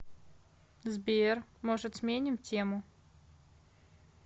сбер может сменим тему